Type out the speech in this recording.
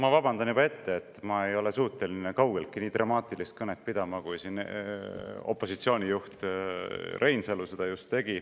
Ma vabandan juba ette, et ma ei ole suuteline kaugeltki nii dramaatilist kõnet pidama, kui opositsiooni juht Reinsalu seda just tegi.